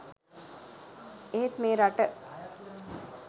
එහෙත් මේ රට